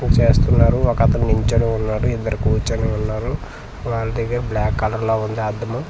చేస్తున్నారు ఒకతను నించొని ఉన్నారు ఇద్దరు కూర్చొని ఉన్నారు వాల్ దగ్గర బ్లాక్ కలర్ లా ఉంది అద్దము.